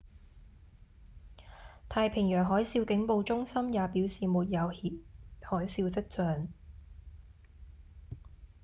太平洋海嘯警報中心也表示沒有海嘯跡象